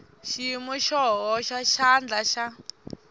xiyimo xo hoxa xandla xa